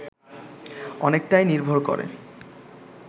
অনেকটাই নির্ভর করে